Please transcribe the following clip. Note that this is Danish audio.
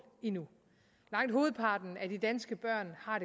endnu langt hovedparten af de danske børn har